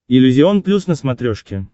иллюзион плюс на смотрешке